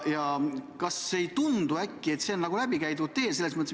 Kas ei tundu, et see on nagu läbikäidud tee?